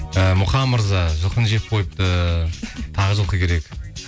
і мұқан мырза жылқыны жеп қойыпты тағы жылқы керек